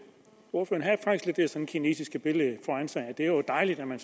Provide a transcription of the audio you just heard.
kinesiske billede foran sig med at det jo er dejligt at man